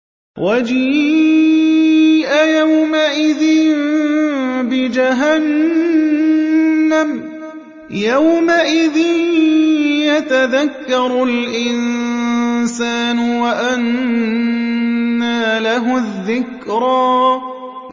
وَجِيءَ يَوْمَئِذٍ بِجَهَنَّمَ ۚ يَوْمَئِذٍ يَتَذَكَّرُ الْإِنسَانُ وَأَنَّىٰ لَهُ الذِّكْرَىٰ